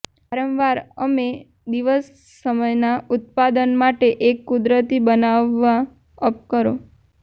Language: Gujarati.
વારંવાર અમે દિવસ સમયના ઉત્પાદન માટે એક કુદરતી બનાવવા અપ કરો